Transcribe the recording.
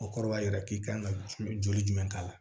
O kɔrɔ b'a jira k'i kan ka joli jumɛn k'a la